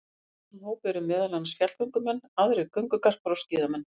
Í þessum hópi eru meðal annars fjallgöngumenn, aðrir göngugarpar og skíðamenn.